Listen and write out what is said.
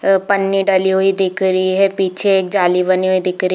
एक पन्नी डली हुई दिख रही है पीछे एक जाली बनी हुई दिख रही--